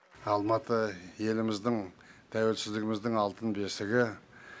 алматы еліміздің тәуелсіздігіміздің алтын бесігі